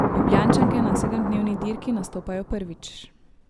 Ljubljančanke na sedemdnevni dirki nastopajo prvič.